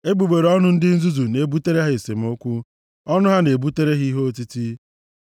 Egbugbere ọnụ ndị nzuzu na-ebutere ha esemokwu, ọnụ ha na-ebutere ha ihe otiti.